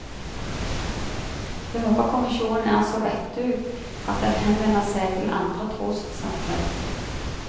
Jeg håper kommisjonen er så vettug at den henvender seg til andre trossamfunn.